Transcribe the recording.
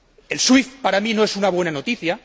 El SWIFT para mí no es una buena noticia